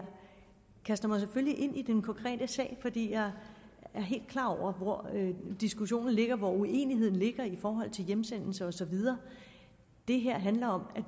kaster mig selvfølgelig ind i den konkrete sag fordi jeg er helt klar over hvor diskussionen ligger hvor uenigheden ligger i forhold til hjemsendelser og så videre det her handler om at